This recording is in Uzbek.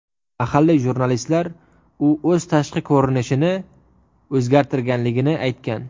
Mahalliy jurnalistlar u o‘z tashqi ko‘rinishini o‘zgartirganligini aytgan.